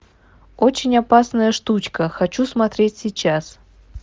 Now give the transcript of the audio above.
очень опасная штучка хочу смотреть сейчас